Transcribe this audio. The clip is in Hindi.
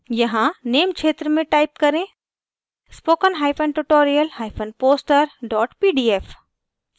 यहाँ name क्षेत्र में type करें spokentutorialposter pdf